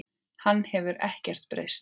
Hann hefur ekkert breyst heldur.